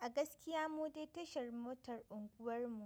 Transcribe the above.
A gaskiya mu dai tashar motar unguwar mu